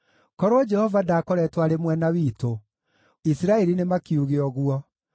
Korwo Jehova ndaakoretwo arĩ mwena witũ; Isiraeli nĩmakiuge ũguo: